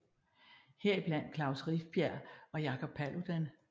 Her i blandt Klaus Rifbjerg og Jacob Paludan